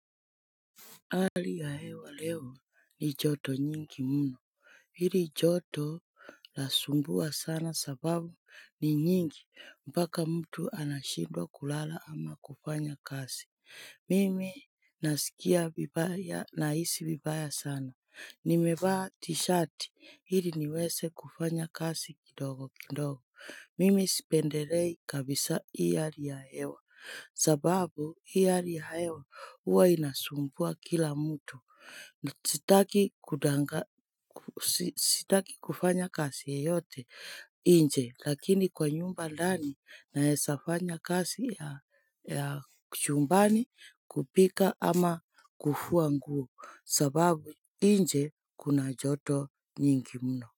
Hali ya hewa leo ni joto nyingi mno. Hili joto lasumbua sana sababu ni nyingi mpaka mtu anashindwa kulala ama kufanya kasi. Mimi nasikia vibaya nahisi vibaya sana. Nimevaa t-shirt ili niweze kufanya kazi kidogo kidogo. Mimi sipendelei kabisa hii hali ya hewa. Sababu hii hali ya hewa huwa inasumbua kila mtu sitaki kufanya kazi yeyote nje lakini kwa nyumba ndani naeza fanya kazi ya chumbani kupika ama kufua nguo sababu nje kuna joto nyingi mno.